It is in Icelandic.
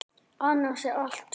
Annars er allt hljótt.